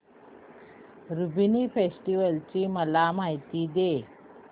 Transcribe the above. Lumbini festival ची मला माहिती दे